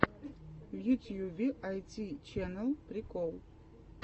в ютьюбе айти чэнэл прикол